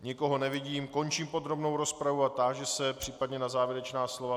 Nikoho nevidím, končím podrobnou rozpravu a táži se případně na závěrečná slova.